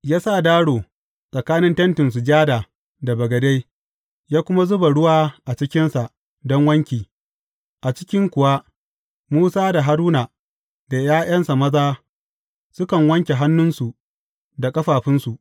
Ya sa daro tsakanin Tentin Sujada da bagade, ya kuma zuba ruwa a cikinsa don wanki, a cikin kuwa Musa da Haruna da ’ya’yansa maza sukan wanke hannunsa da ƙafafunsu.